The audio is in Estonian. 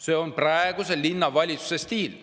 See on praeguse linnavalitsuse stiil.